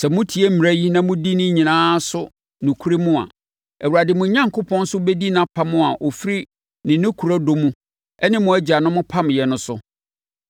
Sɛ motie mmara yi na modi ne nyinaa so nokorɛm a, Awurade, mo Onyankopɔn, nso bɛdi nʼapam a ɔfiri ne nokorɛ dɔ mu ne mo agyanom pameeɛ no so.